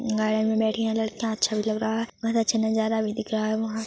garden मे बैठी है लड़कियां अच्छा भी लग रहा है बहुत अच्छा नजारा भी दिख रहा है वहाँ--